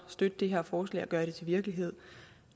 støtte det her forslag og gøre det til virkelighed